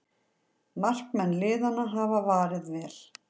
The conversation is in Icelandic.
Markmenn liðanna hafa varið vel